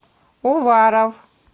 уваров